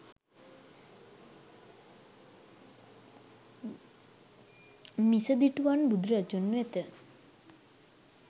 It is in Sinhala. මිසදිටුවන් බුදුරදුන් වෙත